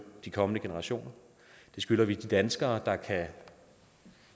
de kommende generationer det skylder vi de danskere der kan